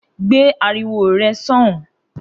Gbé ariwo re̩ só̩hùn-ún!